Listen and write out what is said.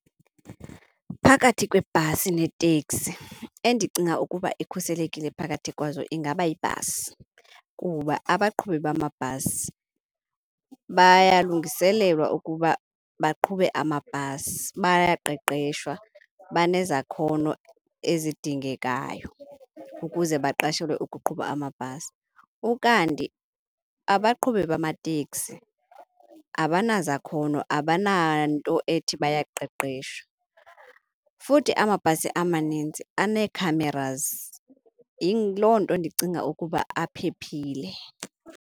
Phakathi kwebhasi neteksi, endicinga ukuba ikhuselekile phakathi kwazo ingaba yibhasi kuba abaqhubi bamabhasi bayalungiselelwa ukuba baqhube amabhasi. Bayaqeshwa, banezakhono ezidingekayo ukuze baqashelwe ukuqhuba amabhasi. Ukanti abaqhubi bamateksi abanazakhono, abananto ethi bayaqeshwa. Futhi amabhasi amanintsi anee-cameras, yiloo nto ndicinga ukuba aphephile.